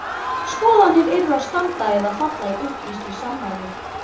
Skoðanir yrðu að standa eða falla í upplýstri samræðu.